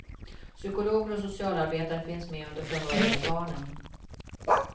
Psykologer och socialarbetare finns med under förhören med barnen.